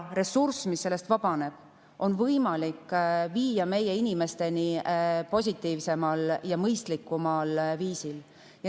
Ressurssi, mis vabaneb, on võimalik viia meie inimesteni positiivsemal ja mõistlikumal viisil.